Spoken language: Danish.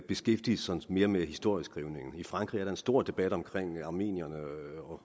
beskæftige sig mere med historieskrivningen i frankrig er der en stor debat om armenierne